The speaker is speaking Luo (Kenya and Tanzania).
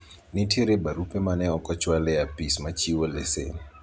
nitiere barupe mane ok ochwal e apis ma chiwo lesen